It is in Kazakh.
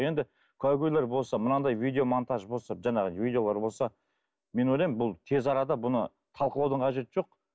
енді куәгерлер болса мынандай видеомонтаж болса жаңағы видеолар болса мен ойлаймын бұл тез арада бұны талқылаудың қажеті жоқ